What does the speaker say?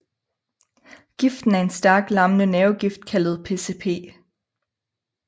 Giften er en stærk lammende nervegift kaldtet PSP